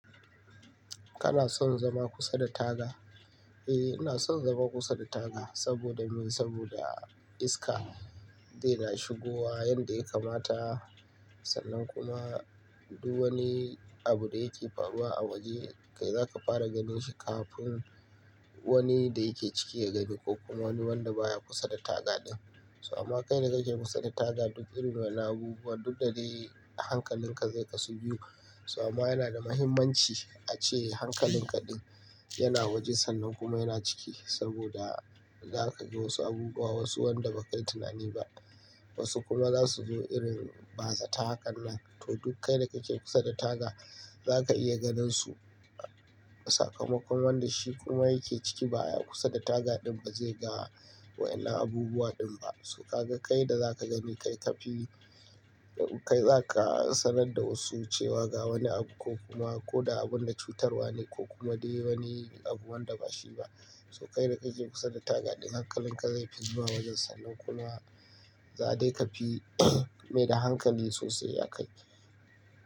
Kana son zama kusa da taga? Eh, ina son zama kusa da taga saboda me? Saboda iska dai na shigowa yanda ya kamata, sannan kuma duk wani abu da yake faruwa a waje, kai zaka fara ganin shi kafin wani da yake ciki ya gani ko kuma wani wanda baya kusa da taga din. So amma kai da kake kusa da taga duk irin wani abubuwa duk da dai hankalinka zai ka su biyu. Suwa ma yana da muhimmanci ace hankalin ka din yana waje sannan kuma yana ciki saboda za ka ga wasu abubuwa wasu wanda ba ka yi tunani ba. Wasu kuma za su zo irin bazata hakan nan. To duk kai da kake kusa da taga zaka iya ganin su. Sakamakon wanda shi kuma yake ciki baya kusa da taga din ba zai ga wa'innan abubuwa din ba. So ka ga kai da za ka gani kai ka fi, kai zaka sanar da wasu cewa ga wani abu ko kuma ko da abun da cutarwa ne ko kuma dai wani abu wanda ba shi ba. So kai da kake kusa da taga din hankalin ka zai fi na wajen sannan kuma za dai ka fi mai da hankali sosai a kai.